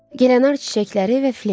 Gilenar çiçəkləri və Fleta.